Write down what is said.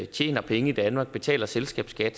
tjener penge i danmark betaler selskabsskat